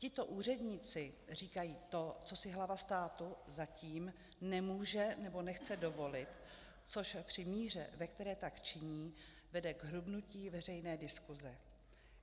Tito úředníci říkají to, co si hlava státu zatím nemůže nebo nechce dovolit, což při míře, ve které tak činí, vede k hrubnutí veřejné diskuse.